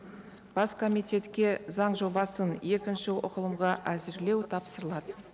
бас комитетке заң жобасын екінші оқылымға әзірлеу тапсырылады